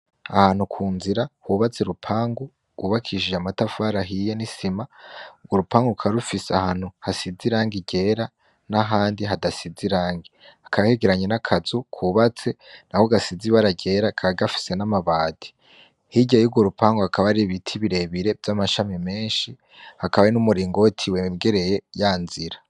Ahantu ku nzira hubatse urupangu rw'ubakishije amatafari ahiya n'isima, urupangu rukaba rufise ahantu hasize irangi ryera n'ahandi hadasize irangi, hakaba hegeranye n'akazu kubatse nako gasize ibara ryera kaba gafise n'amabati, hirya yurwo rupangu hakaba hari ibiti birebire vy'amashami menshi hakaba hari n'umuringoti wegereye ya nzira.